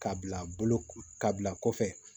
K'a bila bolo ka bila kɔfɛ